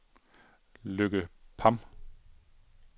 Lykke Pham